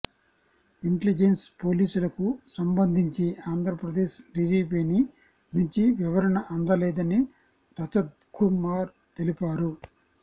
intelligence పోలీసులకు సంబంధించి ఆంధ్రప్రదేశ్ డీజీపీని నుంచి వివరణ అందలేదని రజత్కుమార్ తెలిపారు